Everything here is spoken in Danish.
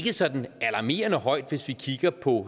sådan alarmerende højt hvis vi kigger på